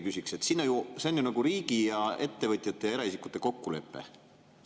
See on ju riigi ja ettevõtjate ja eraisikute kokkulepe.